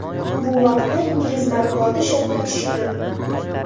Bu vaqtda ingliz matbuoti shokka tushgan.